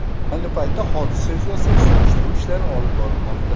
Ayni paytda hodisa yuzasidan surishtiruv ishlari olib borilmoqda.